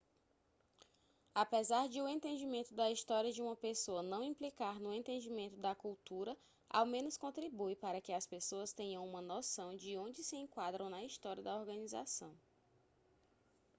apesar de o entendimento da história de uma pessoa não implicar no entendimento da cultura ao menos contribui para que as pessoas tenham uma noção de onde se enquadram na história da organização